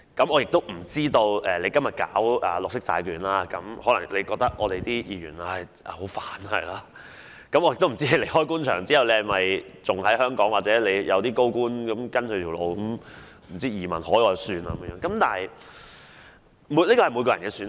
我不知道今天推行綠色債券的你會否認為議員很麻煩，亦不知道當你離開官場後會留在香港還是如其他高官般移民海外，這是各人的選擇。